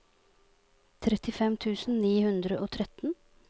trettifem tusen ni hundre og tretten